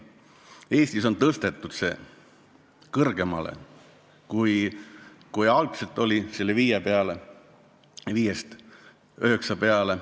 Eestis on see tõstetud kõrgemale, algselt 5%-lt 9% peale.